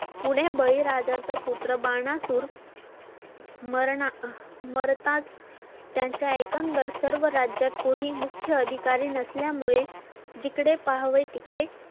पुढे बळीराजा चा पुत्र बाणा सुर मरणा मरताच त्यांच्या एकंदर सर्व राज्यात कोणी मुख्य अधिकारी नसल्या मुळे जिकडे पाहावे तिकडे